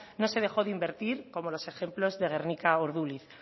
no se dejó de invertir como los ejemplos de gernika o urduliz